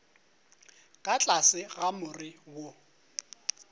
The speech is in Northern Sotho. ka tlase ga more wo